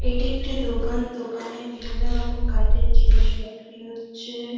এটি একটি দোকান। দোকানে বিভিন্ন রকম কাঠের জিনিস বিক্রি হচ্ছে-এ ।